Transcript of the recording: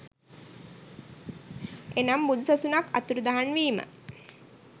එනම් බුදු සසුනක් අතුරුදහන් වීම